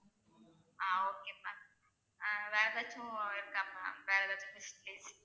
ஆஹ் okay ma'am ah வேற ஏதாச்சும் இருக்கா ma'am வேற ஏதாச்சும்